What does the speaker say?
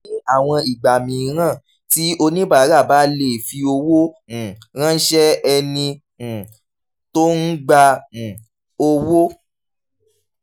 ní àwọn ìgbà mìíràn tí oníbàárà bá lè fi owó um ránṣẹ́ ẹni um tó ń gba um owó